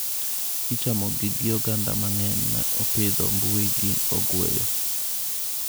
Ichamogi gi ogandaa mang'eny ma opidho mbuyi gi ogweyo.